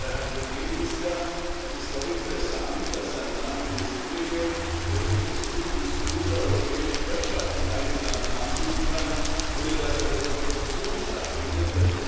Und, Herr Premierminister, es ist doch interessant, dass ein Land wie das Ihrige wirklich das Who is Who der europäischen Wirtschaft im eigenen Land ansiedeln kann, ohne dass da groß Produktion stattfindet.